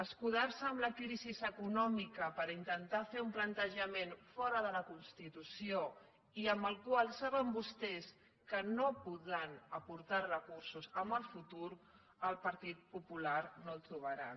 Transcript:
escudar se amb la crisi econòmica per intentar fer un plantejament fora de la constitució i amb el qual saben vostès que no podran aportar recursos en el futur al partit popular no el trobaran